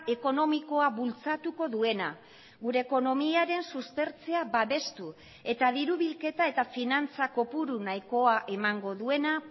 ekonomikoa bultzatuko duena gure ekonomiaren suspertzea babestu eta diru bilketa eta finantza kopuru nahikoa emango duena